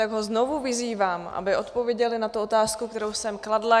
Tak ho znovu vyzývám, aby odpověděl na tu otázku, kterou jsem kladla.